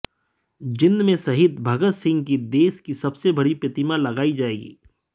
जींद में शहीद भगत सिंह की देश की सबसे बड़ी प्रतिमा लगाई जाएगी